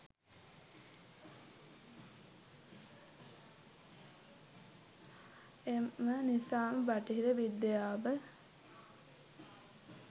එම නිසාම බටහිර විද්‍යාව